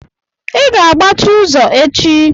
I ga-agbachi ụzọ echi!